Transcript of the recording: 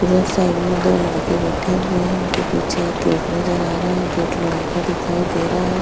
इधर साइड में दो लड़के बैठे हुए है उनके पीछे गेट नजर आ रहा है गेट लोहै का दिखाई दे रहा हैं।